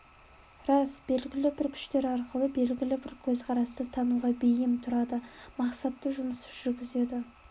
рас белгілі бір күштер арқылы белгілі бір көзқарасты таңуға бейім тұрады мақсатты жұмыс жүргізеді